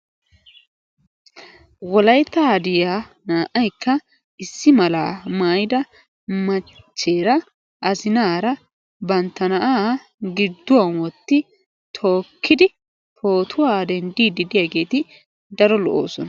Wolaytta hadiya naa"aykka issi malal maayyida machcheera azzinaara bantta giduwan wotti tookkidi pootuwan denddidi de'iyaageeti daro lo"oosona.